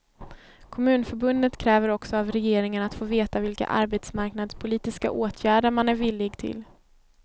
Kommunförbundet kräver också av regeringen att få veta vilka arbetsmarknadspolitiska åtgärder man är villig till.